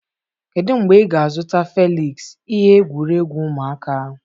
Kedu mgbe ị ga-azụta Felịksị ihe egwuregwu ụmụaka?